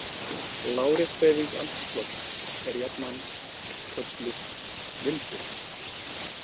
Lárétt hreyfing andrúmslofts er jafnan kölluð vindur.